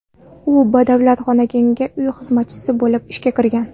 U badavlat xonadonga uy xizmatchisi bo‘lib ishga kirgan.